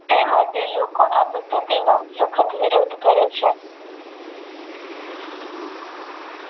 તે માટે લોકો આ આપત્તિ નો સખત વિરોધ કરે છે.